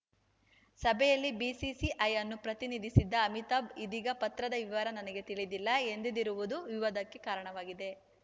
ಸಭೆಯಲ್ಲಿ ಬಿಸಿಸಿಐ ಅನ್ನು ಪ್ರತಿನಿಧಿಸಿದ್ದ ಅಮಿತಾಭ್‌ ಇದೀಗ ಪತ್ರದ ವಿವರ ನನಗೆ ತಿಳಿದಿಲ್ಲ ಎಂದಿರುವುದು ವಿವಾದಕ್ಕೆ ಕಾರಣವಾಗಿದೆ